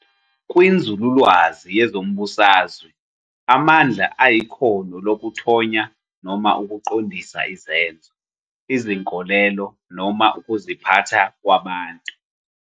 Kwinzululwazi yezombusazwe, amandla ayikhono lokuthonya noma ukuqondisa izenzo, izinkolelo, noma ukuziphatha kwabantu.